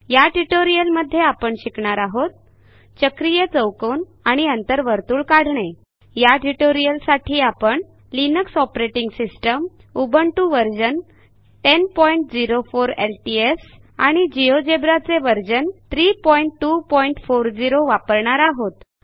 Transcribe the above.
या ट्युटोरियलमध्ये आपण शिकणार आहोत चक्रीय चौकोन आणि अंतर्वर्तुळ काढणे या ट्युटोरियलसाठी आपण Linux operating system Ubuntu version 1004 LTS आणि जिओजेब्रा चे व्हर्शन 32400 वापरणार आहोत